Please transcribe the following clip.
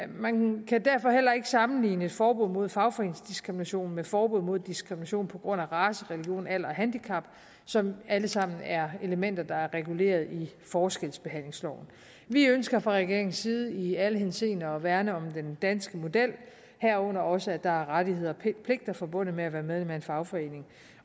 man kan derfor heller ikke sammenligne et forbud mod fagforeningsdiskrimination med forbud mod diskrimination på grund af race religion alder og handicap som alle sammen er elementer der er reguleret i forskelsbehandlingsloven vi ønsker fra regeringens side i alle henseender at værne om den danske model herunder også at der er rettigheder og pligter forbundet med at være medlem af en fagforening